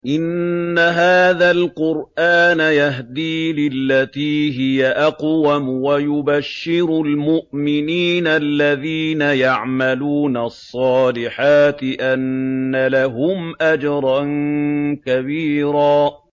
إِنَّ هَٰذَا الْقُرْآنَ يَهْدِي لِلَّتِي هِيَ أَقْوَمُ وَيُبَشِّرُ الْمُؤْمِنِينَ الَّذِينَ يَعْمَلُونَ الصَّالِحَاتِ أَنَّ لَهُمْ أَجْرًا كَبِيرًا